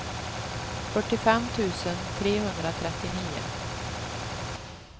fyrtiofem tusen trehundratrettionio